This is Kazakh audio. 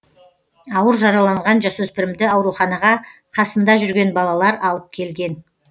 ауыр жараланған жасөспірімді ауруханаға қасында жүрген балалар алып келген